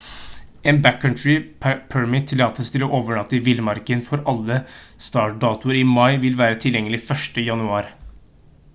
en «backcountry permit» tillatelse til å overnatte i villmarken for alle startdatoer i mai vil være tilgjengelig 1. jan